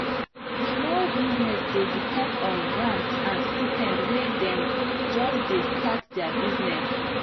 small business dey depend on grant and stipend when dem just dey start their business.